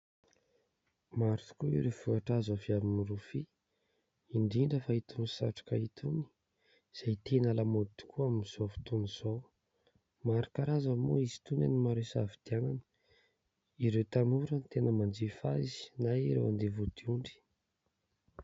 Maro tokoa ireo vokatra azo avy amin'ny rofia, indrindra fa itony satroka itony, izay tena lamaody tokoa amin'izao fotoana izao, maro karazana moa izy itony, maro isafidianana, ireo tanora no tena manjifa azy na ireo handeha vodiondry.